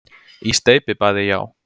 Í steypibaði, já.